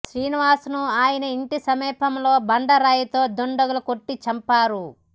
శ్రీనివాస్ను ఆయన ఇంటి సమీపంలో బండరాయితో దుండగులు కొట్టి చంపారు